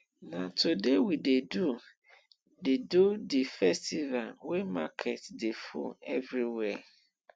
na today we dey do the do the festival wey market dey full everywhere